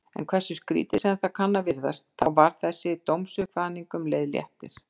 En hversu skrýtið sem það kann að virðast, þá var þessi dómsuppkvaðning um leið léttir.